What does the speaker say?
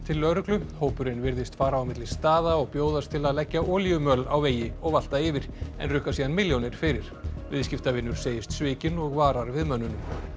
lögreglu hópurinn virðist fara á milli staða og bjóðast til að leggja olíumöl á vegi og valta yfir en rukka síðan milljónir fyrir viðskiptavinur segist svikinn og varar við mönnunum